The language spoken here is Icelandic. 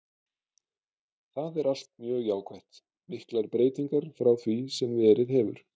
Það er allt mjög jákvætt, miklar breytingar frá því sem verið hefur.